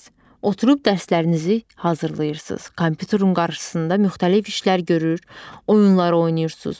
Oturub dərslərinizi hazırlayırsız, kompyuterun qarşısında müxtəlif işlər görür, oyunlar oynayırsız.